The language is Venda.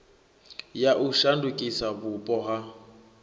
ya u shandukisa vhupo ha